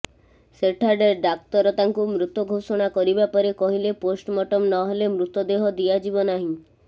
ସେଠାରେ ଡାକ୍ତର ତାଙ୍କୁ ମୃତ ଘୋଷଣା କରିବା ପରେ କହିଲେ ପୋଷ୍ଟମର୍ଟମ ନହେଲେ ମୃତଦେହ ଦିଆଯିବ ନାହିଁ